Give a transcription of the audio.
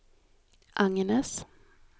Agnes